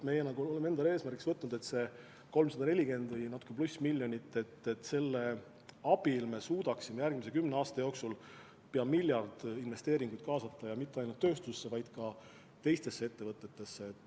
Me oleme endale eesmärgiks võtnud 340 või natuke pluss miljonit – selle abil me suudaksime järgmise kümne aasta jooksul pea miljard eurot investeeringuid kaasata, ja mitte ainult tööstusse, vaid ka teistesse ettevõtetesse.